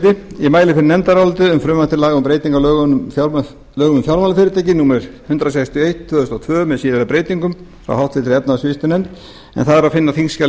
frumvarp til laga um breytingu á lögum um fjármálafyrirtæki númer hundrað sextíu og eitt tvö þúsund og tvö með síðari breytingum frá háttvirtri efnahags og viðskiptanefnd en það er að finna á